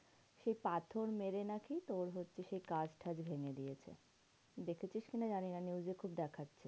সেই পাথর মেরে নাকি তোর হচ্ছে সেই কাঁচ টাচ ভেঙে দিয়েছে। দেখেছিস কি না জানিনা news এ খুব দেখাচ্ছে।